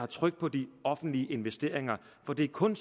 tryk på de offentlige investeringer for det er kun